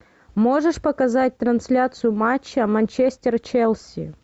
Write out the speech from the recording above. можешь показать трансляцию матча манчестер челси